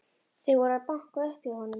Þeir voru að banka upp á hjá honum.